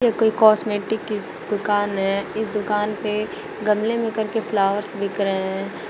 ये कोई कॉस्मेटिक की दुकान है इस दुकान पे गमले में करके फ्लावर्स बिक रहे हैं।